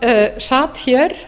sem sat hér